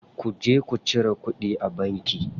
Ku je ku cire kuɗi a banki.